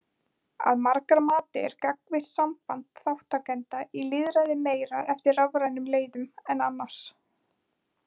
Að margra mati er gagnvirkt samband þátttakenda í lýðræði meira eftir rafrænum leiðum en annars.